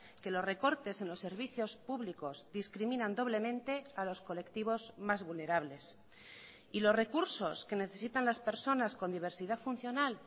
que los recortes en los servicios públicos discriminan doblemente a los colectivos más vulnerables y los recursos que necesitan las personas con diversidad funcional